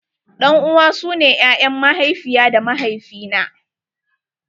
Ɗan uwa su ne ƴaƴan mahaifiya ta da mahaifi na.